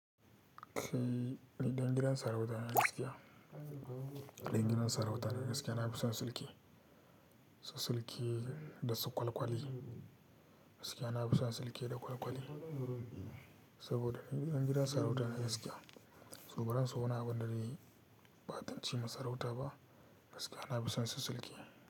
Kai ɗan gidan sarauta ne gaskiya? Ɗan gidan sarautan gaskiya, na fi son sulke, su sulke da su kwalkwali gaskiya. Na fi son sulke da kwalkwali saboda ɗan gidan sarauta ne gaskiya. Su baran so wani abun da zaiyi ɓatanci ma sarauta ba gaskiya. Na fi son su sulke.